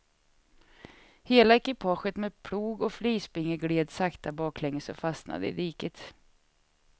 Hela ekipaget med plog och flisbinge gled sakta baklänges och fastnade i diket.